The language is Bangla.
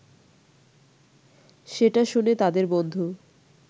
সেটা শুনে তাদের বন্ধু